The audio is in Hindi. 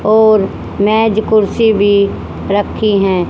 और मैज कुर्सी भी रखी हैं।